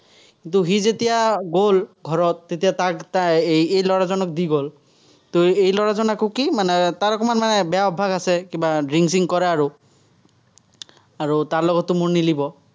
কিন্তু, সি যেতিয়া গ'ল, ঘৰত, তেতিয়া তাক এই এই ল'ৰাজনক দি গ'ল। এই ল'ৰাজন আকৌ কি, মানে তাৰ অকণমান মানে বেয়া অভ্যাস আছে, কিবা drink চিংক কৰে আৰু। আৰু তাৰ লগততো মোৰ ।